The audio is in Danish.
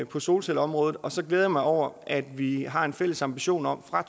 på solcelleområdet og så glæder jeg mig over at vi har en fælles ambition om fra